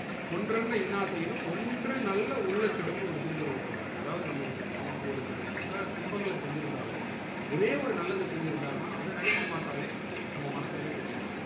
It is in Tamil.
கொன்றன்ற இன்னார் செயினும் ஒன்று நல்ல உள்ள கெடும் ஒரு திருக்குறள் உண்டு பாருங்க அதாவது நமக்கு நமக்கு ஒருத்தர் பல துன்பங்கள செஞ்சிருந்தாலும் ஒரே ஒரு நல்லது செஞ்சிருந்தாலும் அத நெனச்சி பாத்தாலே நம்ம மனசு என்ன செஞ்சிறும்